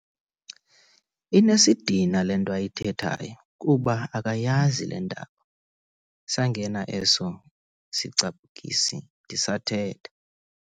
Inesidina le nto ayithethayo kuba akayazi le ndaba. sangena eso sicaphukisi ndisathetha